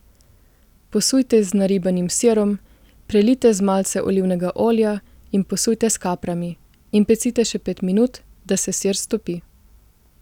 Posujte z naribanim sirom, prelijte z malce olivnega olja in posujte s kaprami in pecite še pet minut, da se sir stopi.